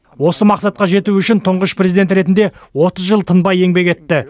осы мақсатқа жету үшін тұңғыш президент ретінде отыз жыл тынбай еңбек етті